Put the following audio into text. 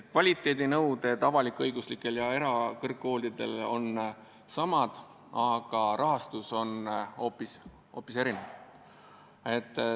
Kvaliteedinõuded avalik-õiguslikele ja erakõrgkoolidele on samad, aga rahastus on hoopis erinev.